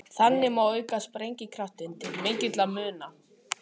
Þannig má auka sprengikraftinn til mikilla muna.